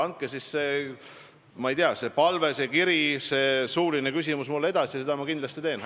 Andke see, ma ei tea, palve, kiri või suuline küsimus mulle edasi ja seda ma kindlasti teen.